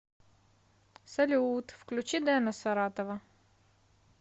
салют включи дена саратова